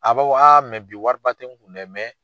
A b'a fɔ bi wari ba tɛ n kun dɛ